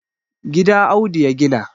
gida Audu ya gina